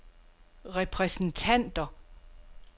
repræsentanter